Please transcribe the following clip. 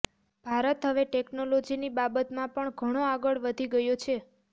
ભારત હવે ટેકનોલોજીની બાબતમાં પણ ઘણો આગળ વધી ગયો છે